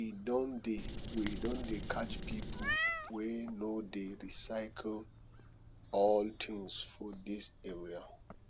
we don dey we don dey catch pipo wey no dey recycle old tins for dis area